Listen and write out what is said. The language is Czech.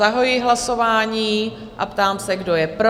Zahajuji hlasování a ptám se, kdo je pro?